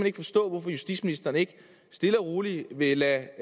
ikke forstå hvorfor justitsministeren ikke stille og roligt vil lade